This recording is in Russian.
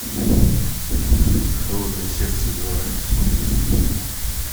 холодное сердце два смотреть